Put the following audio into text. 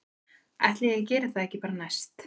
Ætli ég geri það ekki bara næst